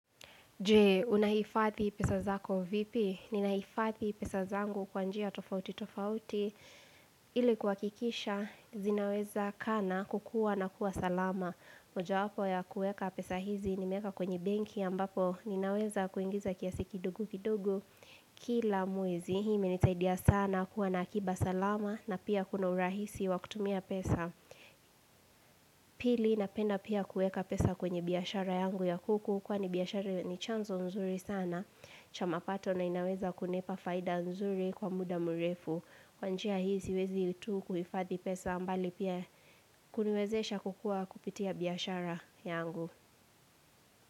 Je, unahifathi pesa zako vipi? Ninahifadhi pesa zangu kwanjia tofauti tofauti, ili kuhakisha, zinaweza kaa na kukua na kuwa salama. Moja wapo ya kueka pesa hizi nimeweka kwenye benki ambapo, ninaweza kuingiza kiasi kidogu kidogu kila mwezi. Hii imenisaidia sana kuwa na akiba salama na pia kuna urahisi wakutumia pesa. Pili, napenda pia kueka pesa kwenye biashara yangu ya kuku kwa ni biashara ni chanzo mzuri sana. Cha mapato na inaweza kunipa faida nzuri kwa muda murefu kwanjia hii siwezi itu kuhifadhi pesa mbali pia kuniwezesha kukua kupitia biashara yangu.